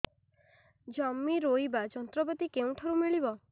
ଜମି ରୋଇବା ଯନ୍ତ୍ରପାତି କେଉଁଠାରୁ ମିଳିବ